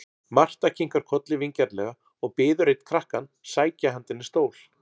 Marta kinkar kolli vingjarnlega og biður einn krakkann sækja handa henni stól.